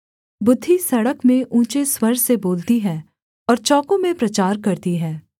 बुद्धि सड़क में ऊँचे स्वर से बोलती है और चौकों में प्रचार करती है